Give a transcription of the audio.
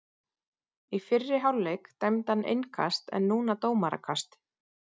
Í fyrri hálfleik dæmdi hann innkast en núna dómarakast.